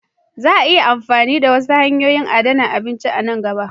Za a fara amfani da wasu hanyoyin adana abinci a nan gaba.